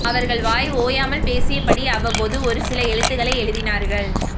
அவர்கள் வாய் ஓயாமல் பேசியபடி அவ்வப்போது ஓரு சில எழுத்துக்களை எழுதினார்கள்